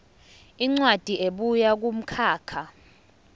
incwadi ebuya kumkhakha